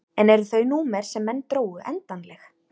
En eru þau númer sem menn drógu endanleg?